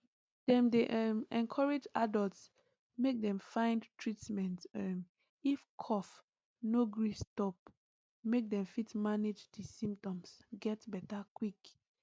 dem dey um encourage adults make dem find treatment um if cough no gree stop make dem fit manage di symptoms get beta quick